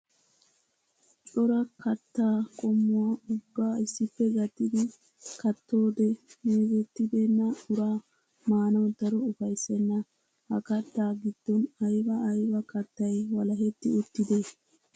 Coraa kattaa qommuwaa ubba issippe gattidi kattoode meezetibeena uraa maanaw daro ufayssenna. Ha kattaa giddon aybba aybba kattay walaheeti uttidee?